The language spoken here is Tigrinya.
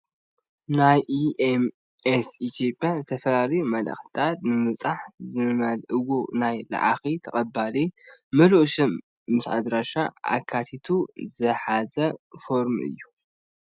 ናይ ኢ ኤም ኤስ ኢትዮጵያ ዝተፈላለዩ መልአኽትታት ንምብፃሕ ዝመልእዎ ናይ ለኣኺን ተቀባሊን ምሉእ ሽም ምስ ኣድራሻ ኣካቲቱ ዝሓዘ ፎርም እዩ፡፡